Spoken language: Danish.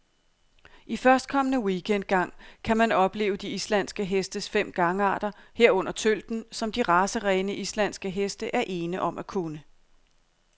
I førstkommende weekend gang kan man opleve de islandske hestes fem gangarter, herunder tølten, som de racerene, islandske heste er ene om at kunne.